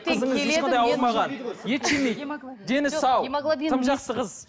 ет жемейді дені сау тым жақсы қыз